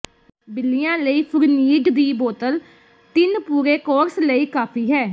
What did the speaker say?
ਬਿੱਲੀਆਂ ਲਈ ਫੁਰਨੀਡ ਦੀ ਬੋਤਲ ਤਿੰਨ ਪੂਰੇ ਕੋਰਸ ਲਈ ਕਾਫੀ ਹੈ